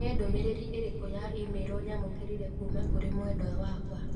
Nĩ ndũmĩrĩri ĩrĩkũ ya i-mīrū nyamũkĩire kuuma kũrĩ mwendwa wakwa?